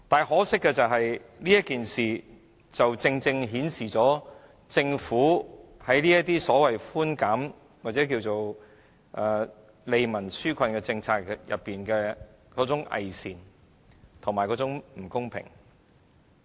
可惜，這項措施正正反映政府制訂所謂"利民紓困"的寬減政策時有多偽善和不公。